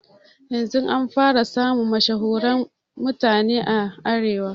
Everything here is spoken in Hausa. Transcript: Yanzun an fara samun mashahuren mutane a arewa